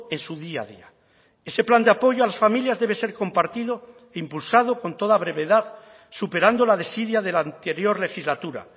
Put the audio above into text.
en su día a día ese plan de apoyo a las familias debe ser compartido impulsado con toda brevedad superando la desidia de la anterior legislatura